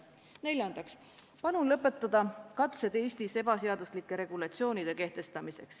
Neljandaks, palun lõpetada katsed Eestis ebaseaduslikke regulatsioone kehtestada.